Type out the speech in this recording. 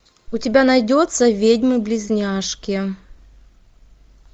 у тебя найдется ведьмы близняшки